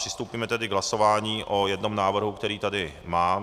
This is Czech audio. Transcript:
Přistoupíme tedy k hlasování o jednom návrhu, který tady mám.